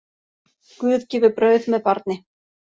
Guð gefur brauð með barni.